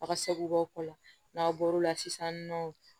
A ka seko la n'aw bɔr'o la sisan nɔ